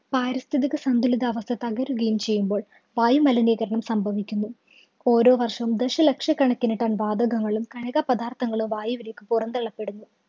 പാരിസ്ഥിതികസന്തുലിതാവസ്ഥ തകരുകയും ചെയ്യുമ്പോള്‍ വായുമലിനീകരണം സംഭവിക്കുന്നു. ഓരോ വര്‍ഷവും ദശലക്ഷക്കണക്കിന് ton വാതകങ്ങളും, കണിക പദാര്‍ത്ഥങ്ങളും വായുവിലേക്ക് പൊറന്തള്ളപ്പെടുന്നു.